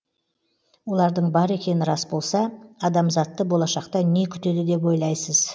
олардың бар екені рас болса адамзатты болашақта не күтеді деп ойлайсыз